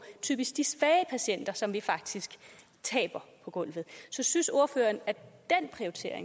typisk de svage patienter som vi faktisk taber på gulvet så synes ordføreren